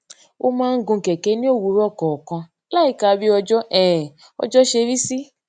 ó máa ń gun kèké ní òwúrò kòòkan láìka bí ojú um ọjó ṣe rí sí